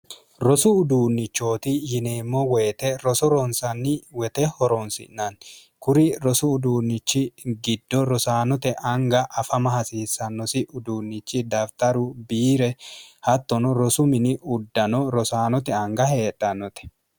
rosu uduunnichooti yineemmo woyite roso roonsanni wete horoonsi'nanni kuri rosu uduunnichi giddo rosaanote anga afama hasiissannosi uduunnichi dafitaru biire hattono rosu mini uddano rosaanote anga heedhannote